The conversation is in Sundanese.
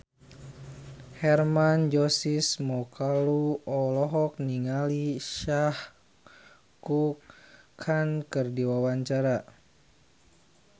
Hermann Josis Mokalu olohok ningali Shah Rukh Khan keur diwawancara